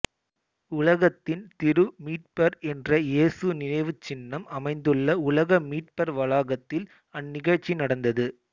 உலகத்தின் திரு மீட்பர் என்ற இயேசு நினைவுச் சின்னம் அமைந்துள்ள உலக மீட்பர் வளாகத்தில் அந்நிகழ்ச்சி நடந்தது